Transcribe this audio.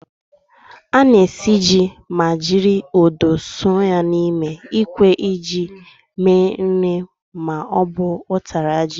Ana esi ji ma jiri odo sọọ ya n'ime ikwe iji me nri ma ọ bu ụtara ji.